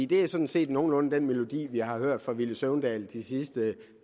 det er sådan set nogenlunde den melodi vi har hørt fra herre villy søvndal de sidste